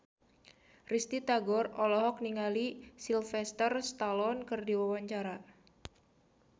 Risty Tagor olohok ningali Sylvester Stallone keur diwawancara